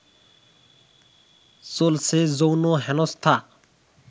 চলছে যৌন হেনস্থা